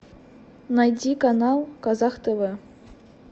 найди канал казах тв